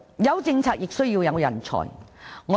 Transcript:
有政策亦需要有人才。